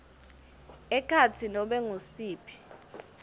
ekhatsi nobe ngusiphi